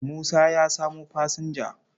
Musa ya samo fasinja.